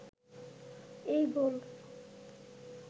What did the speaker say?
এই গোল